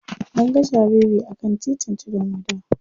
An ga jariri a kan titin tudun wada.